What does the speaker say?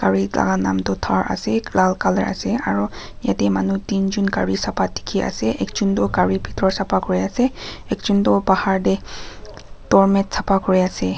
gari thaka naam tuh thar ase lal colour ase aro yateh manu tinjun gari sapha dekhe ase ekjun tuh gari bethor sapha kuri ase ekjun tuh bahar dae doormat sapha kuri ase.